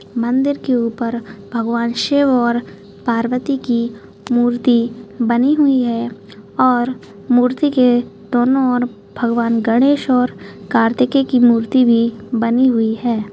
मंदिर के ऊपर बनी भगवान शिव और पार्वती की मूर्ती बनी हुई है और मूर्ती के दोनों ओर भगवान गणेश और कार्तिके की मूर्ती बनी हुई है।